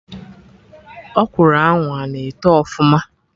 Ọkwụrụ ahụ ana eto ọfụma?